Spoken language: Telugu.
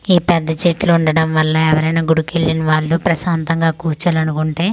ఈ పెద్ద చెట్లు ఉండడం వల్ల ఎవరైనా గుడికి వెళ్ళిన వాళ్ళు ప్రశాంతంగా కూర్చోవాలనుకుంటే.